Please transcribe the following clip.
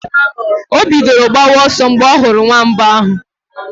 O bidoro gbawa ọsọ mgbe ọ hụrụ nwamba ahụ.